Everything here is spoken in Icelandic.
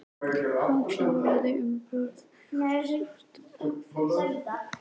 Hann kláraði úr bjórglasinu, stóð upp og stikaði að barnum.